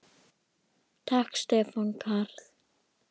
Takk Stefán Karl.